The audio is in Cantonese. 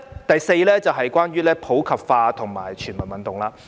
第四，關於普及化和全民運動。